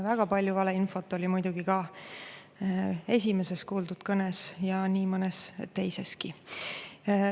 Väga palju valeinfot oli muidugi ka esimeses kuuldud kõnes ja nii mõnes teiseski.